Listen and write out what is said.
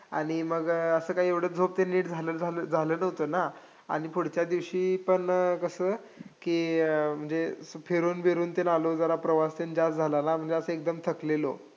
आणि मग असं काही एवढं झोप ते काही नीट झालं झालं~ झालं नव्हतं ना, आणि पुढच्या दिवशी पण कसं की, म्हणजे फिरून बिरून तेन आलो जरा प्रवास तेन जास्त झालेला, म्हणजे एकदम थकलेलो.